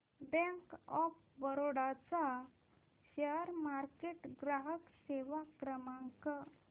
bank of Baroda चा share market ग्राहक सेवा क्रमांक